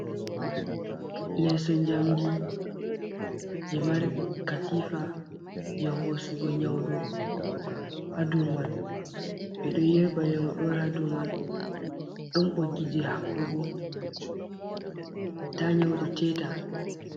Leso jamdi je markatifa je hosugo nyawɗo hadow man ɓeɗo yerba nyauɗo hadow man, ɗon ɓoggi habɓugo ta nyaudo teta.